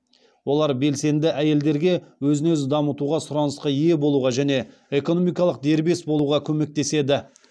олар белсенді әйелдерге өзін өзі дамытуға сұранысқа ие болуға және экономикалық дербес болуға көмектеседі